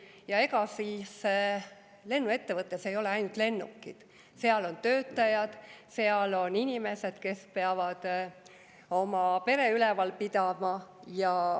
Ja ega siis lennuettevõttes ei ole ainult lennukid: seal on töötajad, seal on inimesed, kes peavad oma peret üleval pidama.